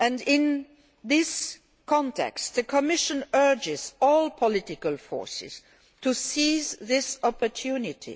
In this context the Commission urges all political forces to seize this opportunity.